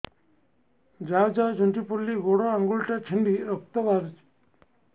ଯାଉ ଯାଉ ଝୁଣ୍ଟି ପଡ଼ିଲି ଗୋଡ଼ ଆଂଗୁଳିଟା ଛିଣ୍ଡି ରକ୍ତ ବାହାରୁଚି